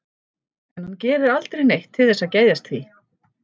En hann gerir aldrei neitt til þess að geðjast því.